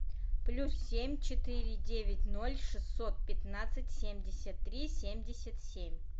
плюс семь четыре девять ноль шестьсот пятнадцать семьдесят три семьдесят семь